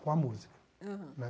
Com a música. Aham. Né